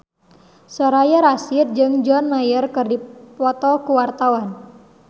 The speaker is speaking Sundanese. Soraya Rasyid jeung John Mayer keur dipoto ku wartawan